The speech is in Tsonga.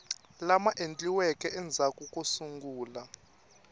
lama endliweke endzhaku ko sungula